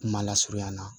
Kuma lasurunya na